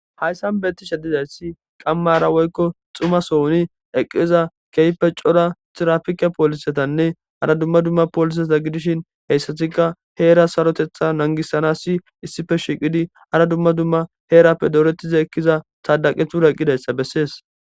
hayssan beti shedizayssi qammara woykko xuma sohuni eqqiza keype cora tirafike poolisetanne hara dumma dumma pooliseta gidishin heyssatika heera sarotetha nangisana si issife shiiqidi hara dumma dumma heerappe doorettiza ekkiza saadaqethuraqqidayssa bessees